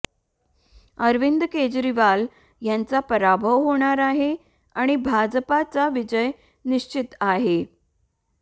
अरविंद केजरीवाल यांचा पराभव होणार आहे आणि भाजपचा विजय निश्चित आहे